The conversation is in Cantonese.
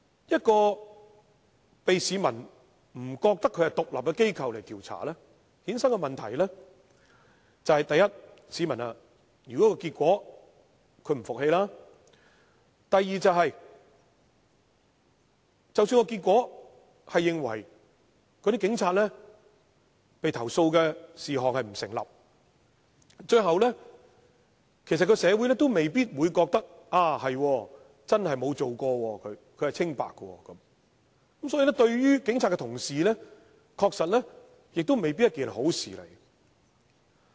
由市民認為不獨立的機構進行調查，衍生的問題是，第一，市民對調查結果並不信服；第二，即使調查結果認為對某名警察的投訴並不成立，最後社會亦未必認同該名警察真的沒有犯事，是清白的，所以對於警察來說，亦未必是好事。